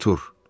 Artur,